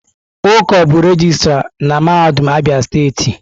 Uko bụ regịstrá na mahadum Abia steeti.